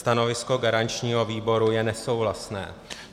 Stanovisko garančního výboru je nesouhlasné.